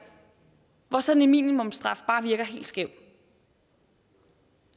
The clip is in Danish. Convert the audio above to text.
hvor sådan en minimumsstraf bare virker helt skæv